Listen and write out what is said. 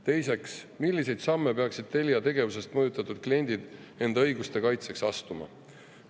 Teiseks, milliseid samme peaksid Telia tegevusest mõjutatud kliendid enda õiguste kaitseks astuma?